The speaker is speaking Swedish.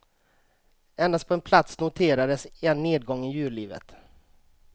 Endast på en plats noterades en nedgång i djurlivet.